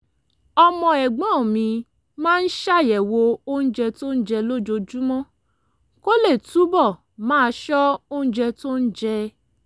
ọmọ ẹ̀gbọ́n mi máa ń ṣàyẹ̀wò oúnjẹ tó ń jẹ lójoojúmọ́ kó lè túbọ̀ máa ṣọ́ oúnjẹ tó ń jẹ